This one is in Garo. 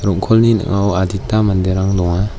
rong·kolni ning·ao adita manderang donga.